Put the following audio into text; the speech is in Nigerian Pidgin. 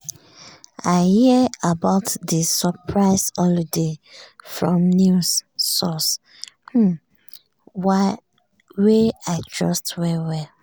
i hear about di surprise holiday from news source um wey i trust well well